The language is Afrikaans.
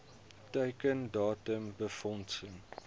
teiken datum befondsing